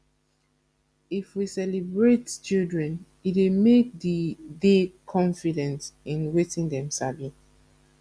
if we celebrate children e dey make de dey confident in wetin dem sabi